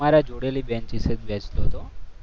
તમારા જોડે બેન્ચ બેસતો હતો.